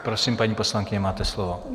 Prosím, paní poslankyně, máte slovo.